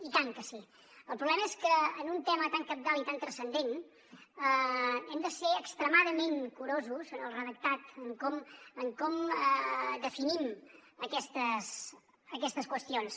i tant que sí el problema és que en un tema tan cabdal i tan transcendent hem de ser extremadament curosos en el redactat en com definim aquestes qüestions